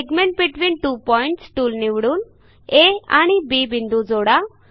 segment between two points tool निवडून आ आणि बी बिंदू जोडा